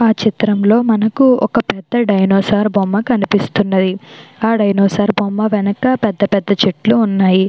ఈ చిత్రంలో మనకి ఒక డైనోసార్ బొమ్మ కనిపిస్తున్నది ఆ డైనోసార్ బొమ్మ వెనక పెద్ద పెద్ద చెట్లు ఉన్నవి.